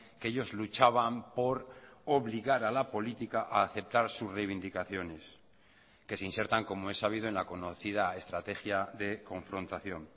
que ellos luchaban por obligar a la política a aceptar sus reivindicaciones que se insertan como es sabido en la conocida estrategia de confrontación